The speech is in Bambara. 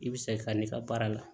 I bɛ se ka n'i ka baara la